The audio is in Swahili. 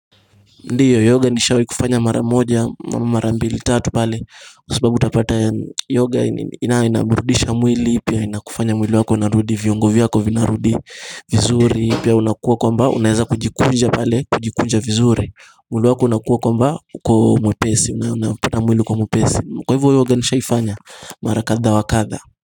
Ndiyo, yoga nishawi kufanya mara moja, mara mbili, tatu pale kwasababu utapata yoga ina inaburudisha mwili Pia inakufanya mwili wako narudi, viongovyako vinarudi vizuri, pia unakuwa kwa mba, unaheza kujikunja pale, kujikunja vizuri mwili wako unakuwa kwa mba, kwa mwepesi, unapata mwili kwa mwepesi Kwa hivyo yoga nishaifanya, marakadha wakadha.